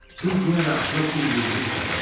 Biz yenə də atılıb bir-birimizi qucaqladıq.